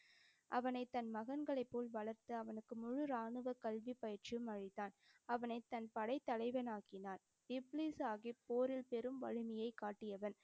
அவனைத் தன் மகன்களைப் போல் வளர்த்து அவனுக்கு முழு ராணுவ கல்வி பயிற்சியும் அளித்தான். அவனைத் தன் படைத்தலைவன் ஆக்கினான். இப்லீஸ் சாஹிப் போரில் பெரும் வலிமையை காட்டியவன்.